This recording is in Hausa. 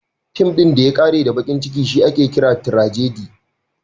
Fin ɗin da ya ƙare da baƙin ciki shi ake kira tirajadi (tragedy).